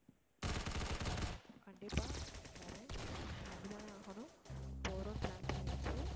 கண்டிப்பா வர்றேன் வந்து தாநே ஆகணும் போறோம்ன்னு plan பண்ணியாச்சு